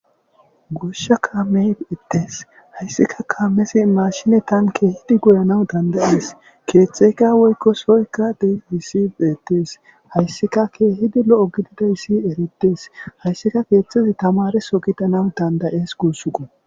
goshsha kaame ittees hayssika kaamesi maashinetan keehidi goyanaw dandayees keetxeyka woykko soykka de hissi deetees hayssika keehidi lo7o gidida issi erettes hayssika keeththezi tamareso gidanaw dandayees guussuqo